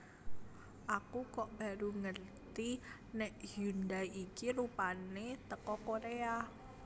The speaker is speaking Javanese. Aku kok baru ngerti nek Hyundai iki rupane teko Korea